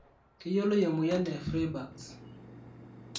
keyioloi emoyian e Freiberg's?